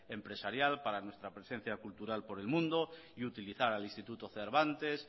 empresarial para nuestra presencia cultural por el mundo y utilizar al instituto cervantes